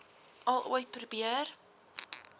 al ooit probeer